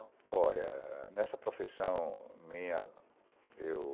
Olha, nessa profissão minha, eu...